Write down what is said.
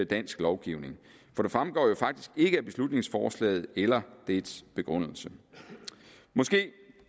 dansk lovgivning for det fremgår jo faktisk ikke af beslutningsforslaget eller dets begrundelse måske